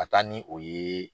Ka taa ni o ye